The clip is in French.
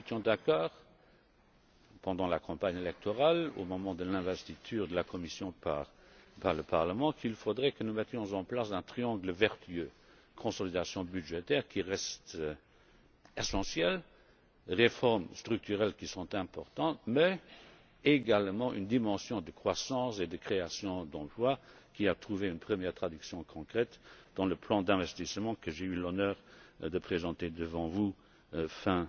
Nous étions d'accord pendant la campagne électorale, au moment de l'investiture de la Commission par le Parlement, sur le fait qu'il faudrait que nous mettions en place un triangle vertueux la consolidation budgétaire qui reste essentielle, les réformes structurelles qui sont importantes mais également une dimension de croissance et de création d'emplois qui a trouvé une première traduction concrète dans le plan d'investissement que j'ai eu l'honneur de présenter devant vous